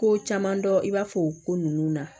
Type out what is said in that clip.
Ko caman dɔn i b'a fɔ o ko ninnu na